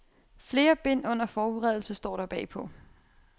Flere bind under forberedelse, står der bagpå.